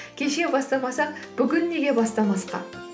кеше бастамасақ бүгін неге бастамасқа